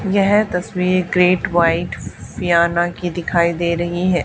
यह तस्वीर great white फ़ियाना की दिखाई दे रही हैं।